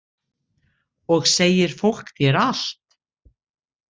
Og segir fólk þér allt?